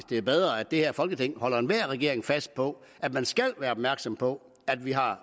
det er bedre at det her folketing holder enhver regering fast på at den skal være opmærksom på at vi har